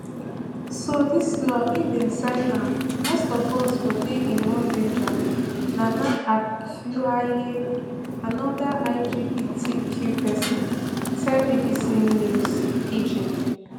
so dis law if dem sign am most of us go dey in more danger nana acquaye anoda lgbtq pesin tell bbc news pidgin